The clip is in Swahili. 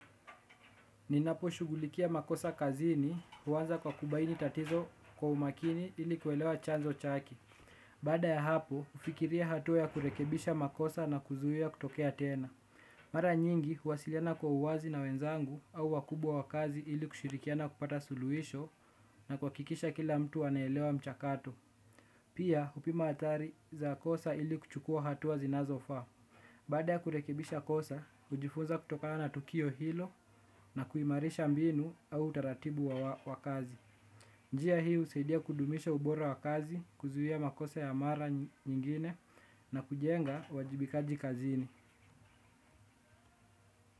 Ninaposhughulikia makosa kazini, huanza kwa kubaini tatizo kwa umakini ili kuelewa chanzo chake. Baada ya hapo, hufikiria hatua ya kurekebisha makosa na kuzuia kutokea tena. Mara nyingi, huwasiliana kwa uwazi na wenzangu au wakubwa wa kazi ili kushirikiana kupata suluisho na kuhakikisha kila mtu anaelewa mchakato. Pia, hupima athari za kosa ili kuchukua hatua zinazofaa. Baada ya kurekebisha kosa, hujifunza kutokana na tukio hilo na kuimarisha mbinu au utaratibu wa kazi. Njia hii, husaidia kudumisha ubora wa kazi, kuzuia makosa ya mara nyingine na kujenga uwajibikaji kazini.